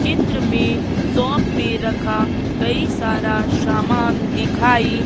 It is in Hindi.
चित्र में शॉप पे रखा कई सारा सामान दिखाई--